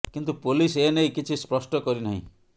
କିନ୍ତୁ ପୋଲିସ୍ ଏ ନେଇ କିଛି ସ୍ପଷ୍ଟ କରି ନାହିଁ